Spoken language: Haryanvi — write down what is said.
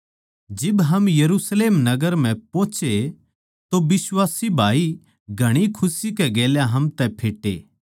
जिब हम यरुशलेम नगर म्ह पोहोचे तो बिश्वासी भाई घणी खुशी कै गेल्या हम तै फेट्टे